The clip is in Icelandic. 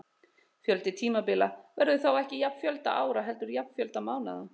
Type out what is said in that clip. Fjöldi tímabila verður þá ekki jafn fjölda ára heldur jafn fjölda mánaða.